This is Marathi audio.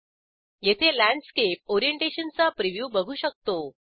येथे लँडस्केप ओरिएंटेशनचा प्रिव्ह्यू बघू शकतो